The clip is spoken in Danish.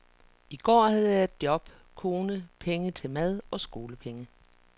I går havde jeg job, kone, penge til mad og skolepenge.